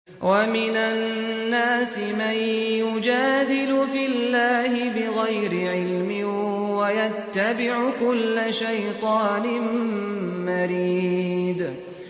وَمِنَ النَّاسِ مَن يُجَادِلُ فِي اللَّهِ بِغَيْرِ عِلْمٍ وَيَتَّبِعُ كُلَّ شَيْطَانٍ مَّرِيدٍ